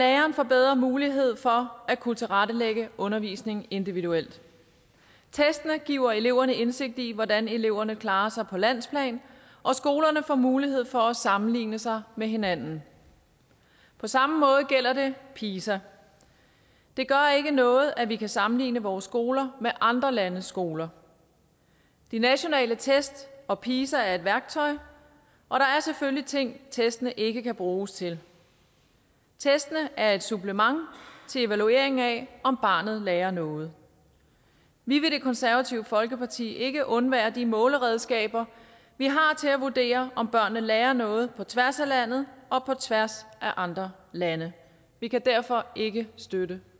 lærerne får bedre mulighed for at kunne tilrettelægge undervisningen individuelt testene giver eleverne indsigt i hvordan eleverne klarer sig på landsplan og skolerne får mulighed for at sammenligne sig med hinanden på samme måde gælder det pisa det gør ikke noget at vi kan sammenligne vores skoler med andre landes skoler de nationale test og pisa er værktøjer og der er selvfølgelig ting testene ikke kan bruges til testene er et supplement til evalueringen af om barnet lærer noget vi vil i det konservative folkeparti ikke undvære de måleredskaber vi har til at vurdere om børnene lærer noget set på tværs af landet og på tværs af andre lande vi kan derfor ikke støtte